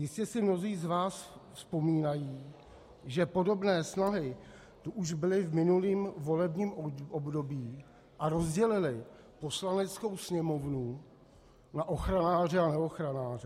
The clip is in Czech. Jistě si mnozí z vás vzpomínají, že podobné snahy tu už byly v minulém volebním období a rozdělily Poslaneckou sněmovnu na ochranáře a neochranáře.